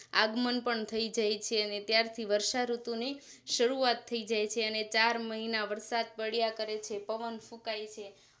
આગમન પણ થઈ જાય છે અને ત્યારથી વર્ષાઋતુની શરૂઆત થઈ જાય છે અને ચાર મહિના વરસાદ પડિયા કરે છે પવન ફુકાય છે